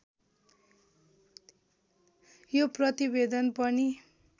यो प्रतिवेदन पनि